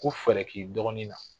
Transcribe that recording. Ko fɛɛrɛ k'i dɔgɔnin na.